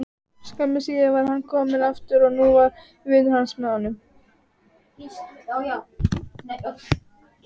Skömmu síðar var hann kominn aftur og nú var vinur hans með honum.